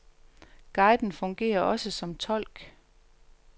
Guiden fungerer også som tolk.